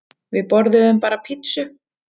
Við borðuðum bara pizzu.